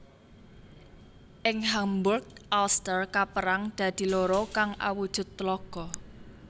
Ing Hamburg Alster kapérang dadi loro kang awujud tlaga